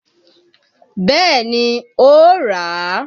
Bẹẹ ni, ó ràá.